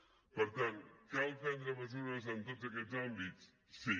per tant cal prendre mesures en tots aquests àmbits sí